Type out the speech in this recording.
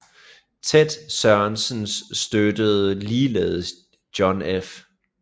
Ted Sorensen støttede ligeledes John F